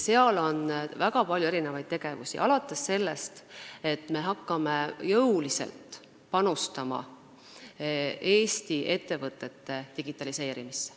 Seal on väga palju tegevusi, alates sellest, et me hakkame jõuliselt panustama Eesti ettevõtete digitaliseerimisse.